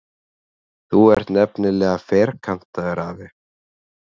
Þú ert nefnilega ferkantaður, afi.